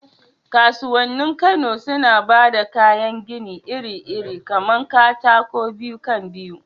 Kasuwannin Kano suna ba da kayan gini iri-iri kamar katakon biyu kan biyu